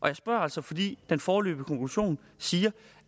jeg spørger altså fordi den foreløbige konklusion siger